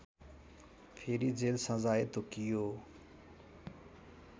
फेरि जेल सजाय तोकियो